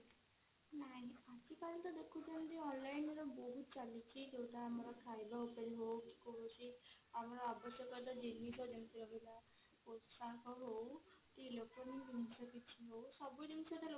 ନାଇଁ ଆଜି କାଲି ତ ଦେଖୁଛନ୍ତି online ର ବହୁତ ଚାଲିଛି ଯଉଟା ଆମର ଖାଇବା ଉପରେ ହଉ କି କୌଣସି ଆମର ଆବଶ୍ୟକତା ଜିନିଷ ଯେମିତି ରହିଲା ହଉ କି ଜିନିଷ ହଉ ସବୁ ଜିନିଷ ତ